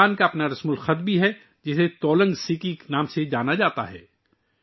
کڈکھ زبان کا اپنا رسم الخط بھی ہے جسے تولانگ سیکی کے نام سے جانا جاتا ہے